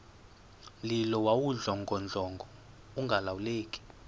mlilo wawudlongodlongo ungalawuleki